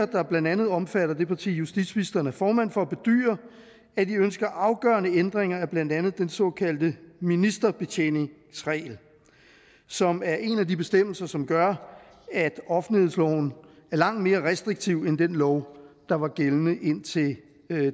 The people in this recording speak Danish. der blandt andet omfatter det parti justitsministeren er formand for bedyrer at de ønsker afgørende ændringer af blandt andet den såkaldte ministerbetjeningsregel som er en af de bestemmelser som gør at offentlighedsloven er langt mere restriktiv end den lov der var gældende indtil